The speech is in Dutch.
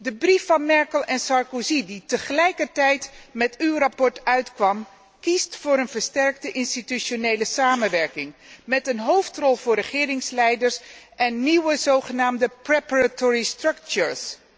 De brief van Merkel en Sarkozy, die tegelijkertijd met uw verslag uitkwam, kiest voor een versterkte institutionele samenwerking met een hoofdrol voor regeringsleiders en nieuwe zogenaamde preparatory structures